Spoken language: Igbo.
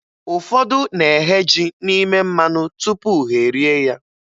Ụfọdụ na-eghe ji n'ime mmanụ tupu ha e rie ya.